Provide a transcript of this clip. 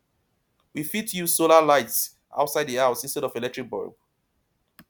we fit use solar lights outside di house instead of electric bulb